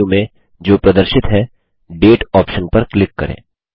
side menu में जो प्रदर्शित है डेट ऑप्शन पर क्लिक करें